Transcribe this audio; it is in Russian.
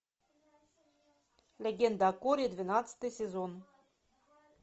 легенда о корре двенадцатый сезон